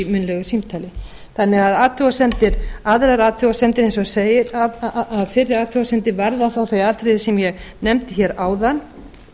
gerði í munnlegu símtali aðrar athugasemdir eins og segir að fyrri athugasemdir varða þá þau atriði sem ég nefndi hér áðan